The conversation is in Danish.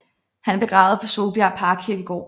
Han er begravet på Solbjerg Parkkirkegård